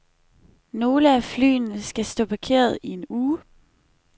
Nogle af flyene skal stå parkeret i en uge.